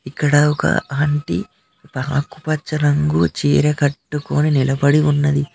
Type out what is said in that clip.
ఇక్కడ ఒక అంటీ ఆకుపచ్చ రంగు చీర కట్టుకొని నిలబడి ఉన్నది.